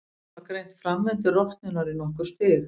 Menn hafa greint framvindu rotnunar í nokkur stig.